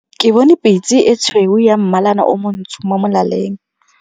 Ke bone pitse e tshweu ya mmalana o montsho mo molaleng.